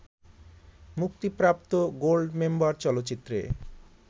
মুক্তিপ্রাপ্ত গোল্ডমেম্বার চলচ্চিত্রে